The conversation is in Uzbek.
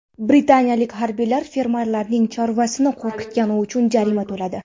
Britaniyalik harbiylar fermerlarning chorvasini qo‘rqitgani uchun jarima to‘ladi.